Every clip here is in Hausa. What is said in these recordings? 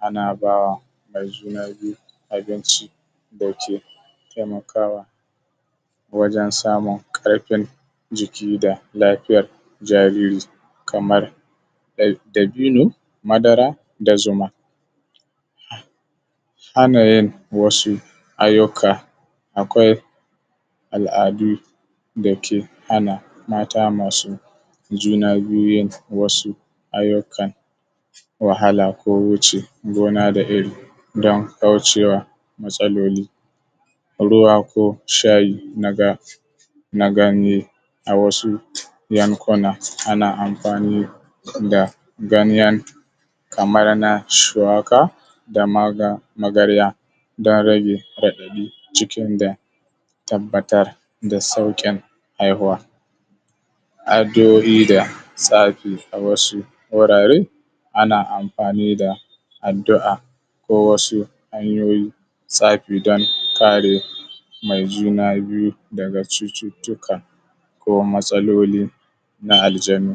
ana ba wa mai juna biyu abinci da ke taimakawa wajen samun ƙarfin jiki da lafiyar jariri kamar dabino madara da zuma ana yin wasu ayyuka akwai al’adu da ke hana mata masu juna biyu yin wasu ayyukan wahala ko wuce gona da iri don kauce wa matsaloli ruwa ko shayi na ganye a wasu yankuna ana amfani da ganye kamar na shuwaka da magarya don rage raɗaɗi cikin don tabbatar da sauƙin haihuwa addu’o’i da tsafi wasu wurare ana amfani da addu’a ko wasu hanyoyin tsafi don kare mai juna biyu daga cututtuka ko matsaloli na aljanu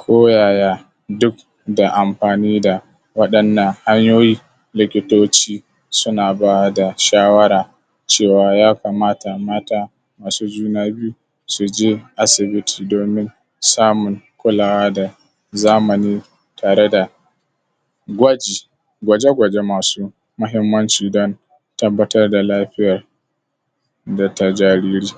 ko yaya duk da amfani da waɗannan hanyoyi likitoci suna ba da shawara cewa ya kamata mata masu juna biyu su je asibiti domin samun kulawa da zamani tare da gwaji gwaje gwaje masu muhimmanci don tabbatar da lafiyar da ta jariri